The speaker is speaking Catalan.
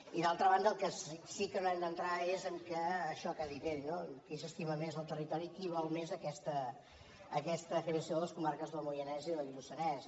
i d’altra banda en el que sí que no hem d’entrar és en això que ha dit ell no qui s’estima més el territori i qui vol més aquesta creació de les comarques del moianès i del lluçanès